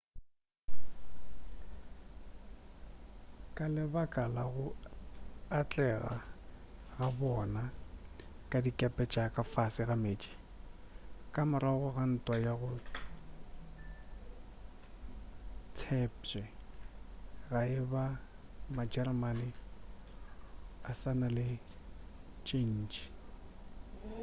ka lebaka la go atlega ga bona ka dikepe tša ka fase ga meetse ka morago ga ntwa ga go tshepšwe ge e ba majeremane a sa na le tše ntšhi